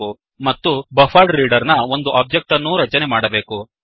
ಮತ್ತು buffered reader buffered reader ನ ಒಂದು ಒಬ್ಜೆಕ್ಟ್ ಅನ್ನೂ ರಚನೆ ಮಾಡಬೇಕು